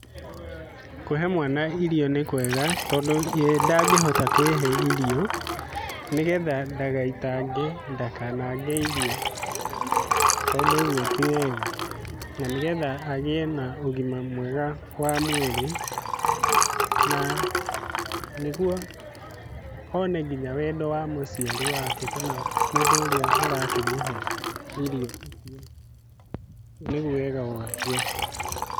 Kũhe mwana irio nĩkwega tondũ ye ndangĩhota kwĩhe irio nĩgetha ndagaitange ndakanange irio , tondũ ũguo ti wega . Na nĩgetha agĩe na ũgima mwega wa mwĩrĩ na nĩguo one nginya wendo wa mũciari wake kana mũndũ ũrĩa ũrakĩmũhe irio icio. Niguo wega waguo.